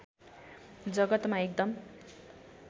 जगतमा एकदम